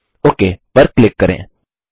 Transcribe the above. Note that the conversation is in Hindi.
ओक पर क्लिक करें